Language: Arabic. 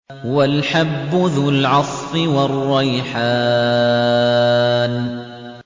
وَالْحَبُّ ذُو الْعَصْفِ وَالرَّيْحَانُ